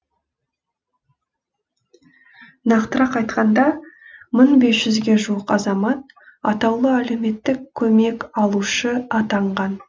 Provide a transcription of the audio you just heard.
нақтырақ айтқанда мың бес жүзге жуық азамат атаулы әлеуметтік көмек алушы атанған